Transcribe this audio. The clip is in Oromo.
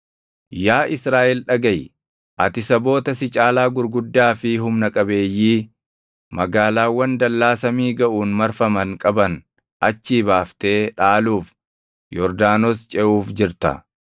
Yaa Israaʼel dhagaʼi. Ati Saboota si caalaa gurguddaa fi humna qabeeyyii, magaalaawwan dallaa samii gaʼuun marfaman qaban achii baaftee dhaaluuf Yordaanos ceʼuuf jirta.